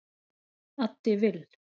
Addi Vill